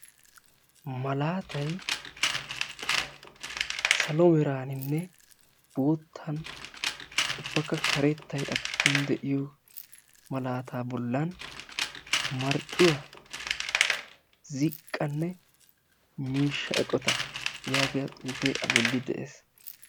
Malaatay salo meraaninne boota ubbakka karettay a giddon de'iyo malaata bolla marccuwa ziqqanne miishsha eqotta yaagiyaa xuufe a bollan de'ees.